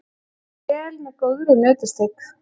vel með góðri nautasteik.